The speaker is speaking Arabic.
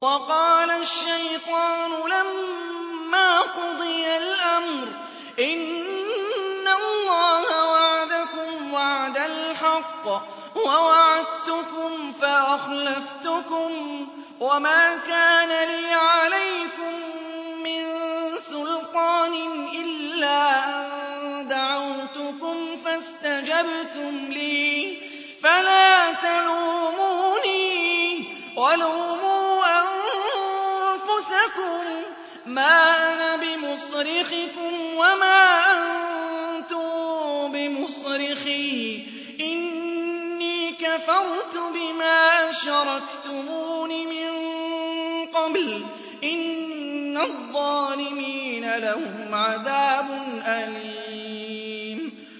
وَقَالَ الشَّيْطَانُ لَمَّا قُضِيَ الْأَمْرُ إِنَّ اللَّهَ وَعَدَكُمْ وَعْدَ الْحَقِّ وَوَعَدتُّكُمْ فَأَخْلَفْتُكُمْ ۖ وَمَا كَانَ لِيَ عَلَيْكُم مِّن سُلْطَانٍ إِلَّا أَن دَعَوْتُكُمْ فَاسْتَجَبْتُمْ لِي ۖ فَلَا تَلُومُونِي وَلُومُوا أَنفُسَكُم ۖ مَّا أَنَا بِمُصْرِخِكُمْ وَمَا أَنتُم بِمُصْرِخِيَّ ۖ إِنِّي كَفَرْتُ بِمَا أَشْرَكْتُمُونِ مِن قَبْلُ ۗ إِنَّ الظَّالِمِينَ لَهُمْ عَذَابٌ أَلِيمٌ